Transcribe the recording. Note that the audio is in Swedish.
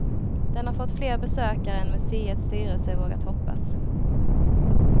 Den har fått fler besökare än museets styrelse vågat hoppas.